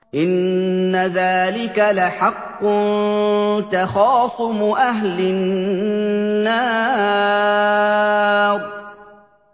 إِنَّ ذَٰلِكَ لَحَقٌّ تَخَاصُمُ أَهْلِ النَّارِ